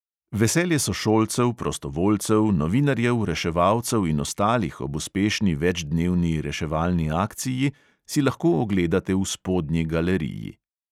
Veselje sošolcev, prostovoljcev, novinarjev, reševalcev in ostalih ob uspešni večdnevni reševalni akciji si lahko ogledate v spodnji galeriji.